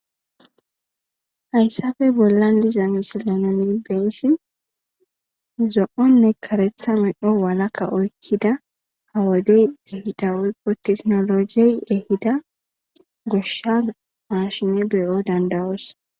Haysappe bollan diza misile nuni beyishn zo'o ne karetha medho walaka oykida ha wodey ehida woyko tekinojey ehida gosha mashiney be'o danda'os